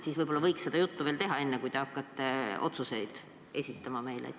Aga võib-olla võiks sellest natuke rääkida, enne kui te hakkate meile otsuseid esitama?